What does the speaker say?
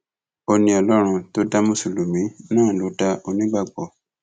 ó ní ọlọrun tó dá mùsùlùmí náà ló dá onígbàgbọ